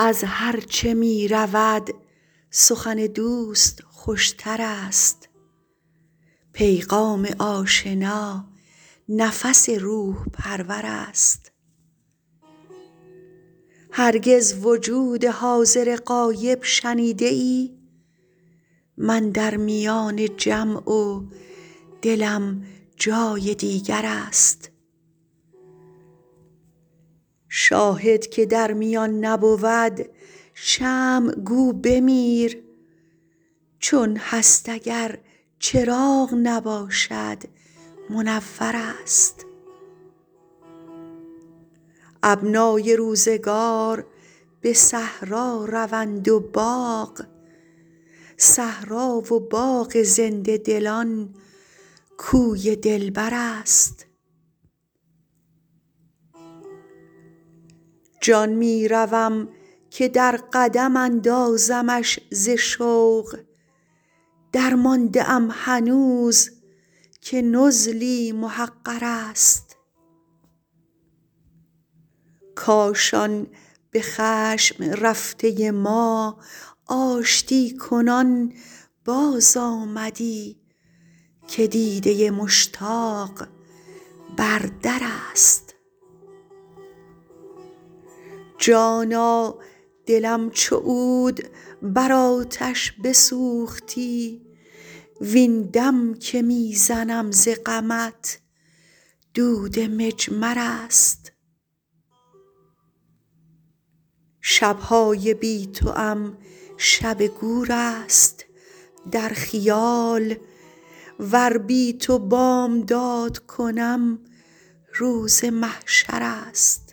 از هرچه می رود سخن دوست خوش تر است پیغام آشنا نفس روح پرور است هرگز وجود حاضر غایب شنیده ای من در میان جمع و دلم جای دیگر است شاهد که در میان نبود شمع گو بمیر چون هست اگر چراغ نباشد منور است ابنای روزگار به صحرا روند و باغ صحرا و باغ زنده دلان کوی دلبر است جان می روم که در قدم اندازمش ز شوق درمانده ام هنوز که نزلی محقر است کاش آن به خشم رفته ما آشتی کنان بازآمدی که دیده مشتاق بر در است جانا دلم چو عود بر آتش بسوختی وین دم که می زنم ز غمت دود مجمر است شب های بی توام شب گور است در خیال ور بی تو بامداد کنم روز محشر است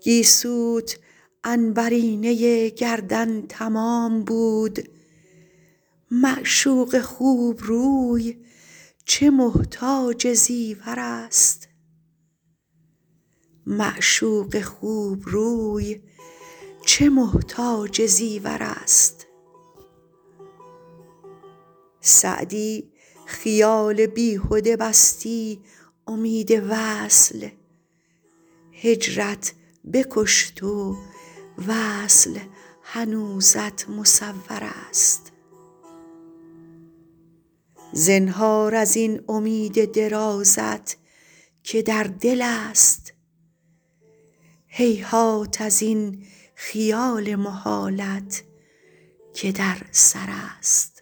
گیسوت عنبرینه گردن تمام بود معشوق خوب روی چه محتاج زیور است سعدی خیال بیهده بستی امید وصل هجرت بکشت و وصل هنوزت مصور است زنهار از این امید درازت که در دل است هیهات از این خیال محالت که در سر است